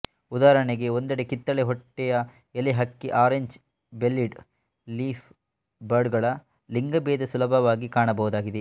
ಉದಾಹರಣೆಗೆ ಒಂದೆಡೆ ಕಿತ್ತಳೆ ಹೊಟ್ಟೆಯ ಎಲೆ ಹಕ್ಕಿ ಆರೆಂಜ್ ಬೆಲ್ಲೀಡ್ ಲೀಫ್ ಬರ್ಡ್ ಗಳ ಲಿಂಗಭೇದ ಸುಲಭವಾಗಿ ಕಾಣಬಹುದಾಗಿದೆ